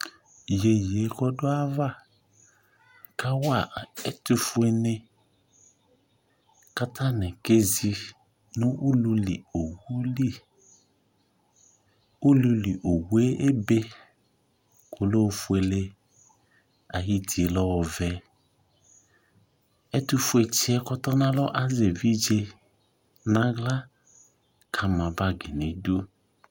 Yeye kɔdo ava kawa a ɛtofue ne ka atane kezi no ululiowu li Ululiowue ebe ko ɔlɛ ofuele Ayiti lɛ ɔvɛ Ɛtofue tseɛ kɔtɔ nalɔ azɛ evidze nahla ka na bagi nidu